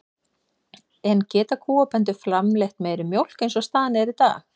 En geta kúabændur framleitt meiri mjólk eins og staðan er í dag?